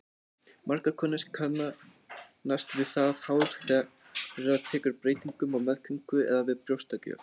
Margar konur kannast við það hár þeirra tekur breytingum á meðgöngu eða við brjóstagjöf.